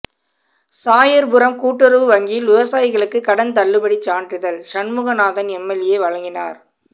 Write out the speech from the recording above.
சாயர்புரம் கூட்டுறவு வங்கியில் விவசாயிகளுக்கு கடன் தள்ளுபடி சான்றிதழ் சண்முகநாதன் எம்எல்ஏ வழங்கினார்